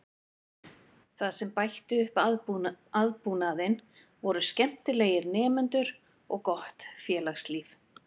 Það sem bætti upp aðbúnaðinn voru skemmtilegir nemendur og gott félagslíf.